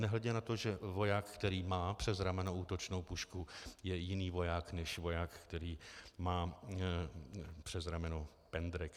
Nehledě na to, že voják, který má přes rameno útočnou pušku, je jiný voják než voják, který má přes rameno pendrek.